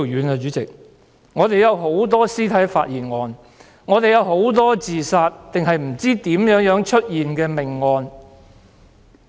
香港有很多屍體發現案、自殺案和不知如何出現的命案。